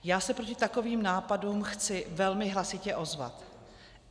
Já se proti takovým nápadům chci velmi hlasitě ozvat.